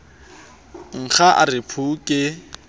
nkga a re phu ke